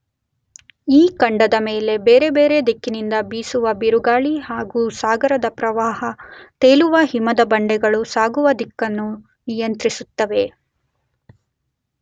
ಈ ಖಂಡದ ಮೇಲೆ ಬೇರೆ ಬೇರೆ ದಿಕ್ಕಿನಿಂದ ಬೀಸುವ ಬಿರುಗಾಳಿ ಹಾಗೂ ಸಾಗರದ ಪ್ರವಾಹ ತೇಲುವ ಹಿಮದ ಬಂಡೆಗಳು ಸಾಗುವ ದಿಕ್ಕನ್ನು ನಿಯಂತ್ರಿಸುತ್ತವೆ.